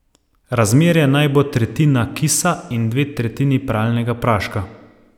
Razmerje naj bo tretjina kisa in dve tretjini pralnega praška.